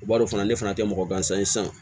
U b'a dɔn fana ne fana tɛ mɔgɔ gansan ye sisan